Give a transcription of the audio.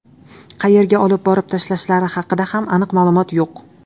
Qayerga olib borib tashlashlari haqida ham aniq ma’lumot yo‘q.